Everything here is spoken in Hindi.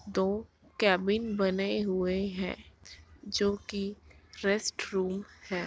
दो केबिन बने हुए हैं जो की रेस्ट रूम हैं।